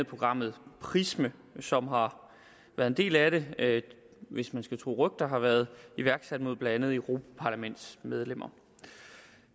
programmet prism som har været en del af det det hvis man skal tro rygter har været iværksat mod blandt andet europaparlamentsmedlemmer